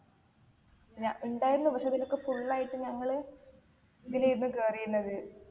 ഞ ഇണ്ടായിരുന്നു പക്ഷെ അതിലൊക്കെ full ആയിട്ട് ഞങ്ങള് ഇതിലായിരുന്നു കേറിരുന്നത്